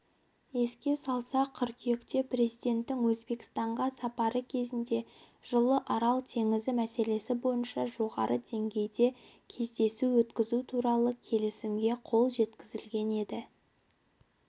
еске салсақ қыркүйекте президентінің өзбекстанға сапары кезінде жылы арал теңізі мәселесі бойынша жоғары деңгейде кездесу өткізу туралы келісімге қол жеткізілген еді